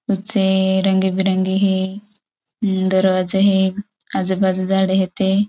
छे रंग बिरंगी हे. दरवाजा हे. आजु बाजु झाड़ हेते.